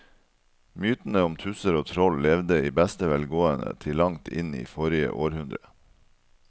Mytene om tusser og troll levde i beste velgående til langt inn i forrige århundre.